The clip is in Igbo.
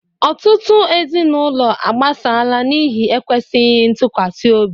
Ọtụtụ ezinụlọ agbasala n'ihi ekwesịghị ntụkwasị obi